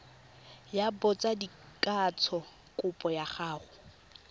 ya botsadikatsho kopo ya go